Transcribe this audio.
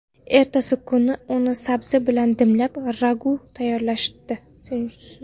Ertasi kuni uni sabzi bilan dimlab, ragu tayyorlashdi.